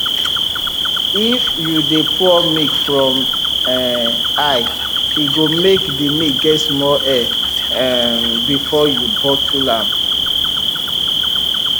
if you de pour milk from up um high e go make the milk get small air um before you bottle am